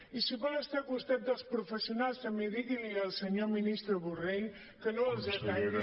i si vol estar al costat dels professionals també digui li al senyor ministre borrell que no els ataqui